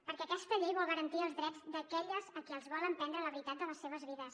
perquè aquesta llei vol garantir els drets d’aquelles a qui els volen prendre la veritat de les seves vides